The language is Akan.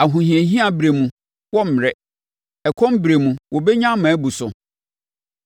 Ahohiahia berɛ mu wɔremmrɛ. Ɛkɔm berɛ mu wɔbɛnya ma abu so.